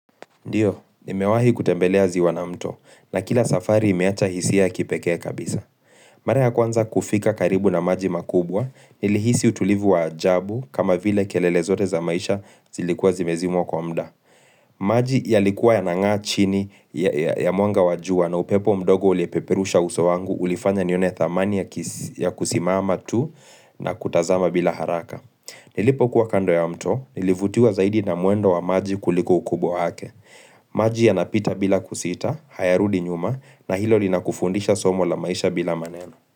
Ndiyo, nimewahi kutembelea ziwa na mto, na kila safari imeacha hisia ya kipekee kabisa. Mara ya kwanza kufika karibu na maji makubwa, nilihisi utulivu wa ajabu kama vile kelele zote za maisha zilikuwa zimezimwa kwa muda. Maji yalikuwa yanangaa chini ya mwanga wa jua na upepo mdogo uliepeperusha uso wangu, ulifanya nione thamani ya kusimama tu na kutazama bila haraka. Nilipo kuwa kando ya mto, nilivutiwa zaidi na mwendo wa maji kuliko ukubwa wake. Maji yanapita bila kusita, hayarudi nyuma na hilo linakufundisha somo la maisha bila maneno.